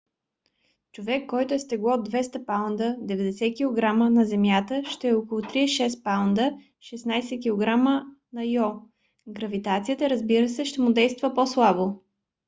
човек който е с тегло 200 паунда 90 кг на земята ще е около 36 паунда 16 кг на йо. гравитацията разбира се ще му действа по-слабо